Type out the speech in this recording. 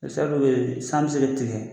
Sira dɔw bɛ yen ,san bɛ se ka tigɛ